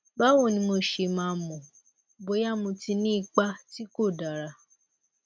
báwo ni mo ṣe máa mọ bóyá mo ti ní ipa tí kò dára